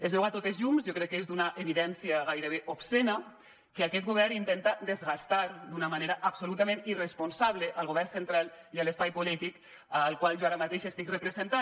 es veu sense cap mena de dubte jo crec que és d’una evidència gairebé obscena que aquest govern intenta desgastar d’una manera absolutament irresponsable el govern central i l’espai polític que jo ara mateix estic representant